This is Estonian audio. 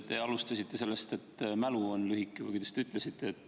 Te alustasite sellest, et mälu on lühike, või kuidas te ütlesitegi.